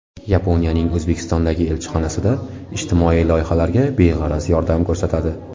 Yaponiyaning O‘zbekistondagi elchixonasida ijtimoiy loyihalarga beg‘araz yordam ko‘rsatadi.